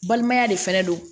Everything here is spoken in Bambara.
Balimaya de fɛnɛ don